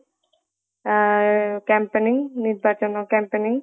ଆଁ campaigning ନିର୍ବାଚନ campaigning